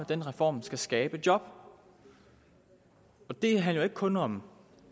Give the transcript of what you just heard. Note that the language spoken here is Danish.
den reform skal skabe job det handler ikke kun om